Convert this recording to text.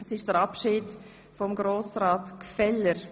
Wir verabschieden Grossrat Gfeller.